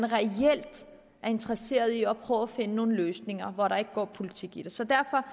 reelt er interesserede i at prøve at finde nogle løsninger hvor der ikke går politik i det så derfor